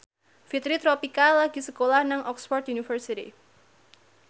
Fitri Tropika lagi sekolah nang Oxford university